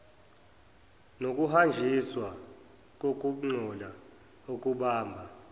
nokuhanjiswa kokungcola okubamba